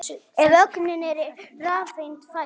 Ef ögnin er rafeind fæst